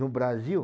No Brasil.